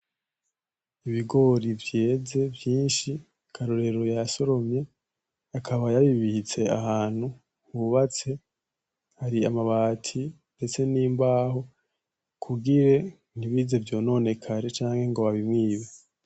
Ibigori vyeze vyinshi Karorero yasoromye akaba yabibitse ahantu hubatse hari amabati ndetse n'imbaho kugire ntibize vyononekare canke ngo babimwibe.